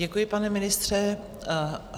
Děkuji, pane ministře.